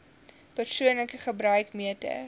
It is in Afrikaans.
persoonlike gebruik meter